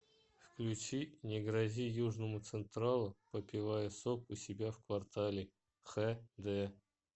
включи не грози южному централу попивая сок у себя в квартале хэ дэ